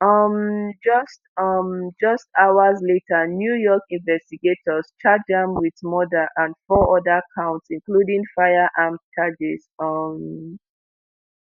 um just um just hours later new york investigators charged am wit murder and four oda counts including firearms charges. um